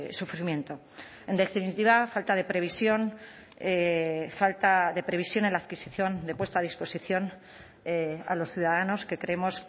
sufrimiento en definitiva falta de previsión falta de previsión en la adquisición de puesta a disposición a los ciudadanos que creemos